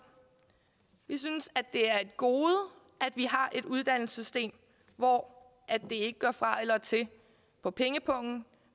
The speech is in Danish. vi synes det er et gode at vi har et uddannelsessystem hvor det ikke gør fra eller til på pengepungen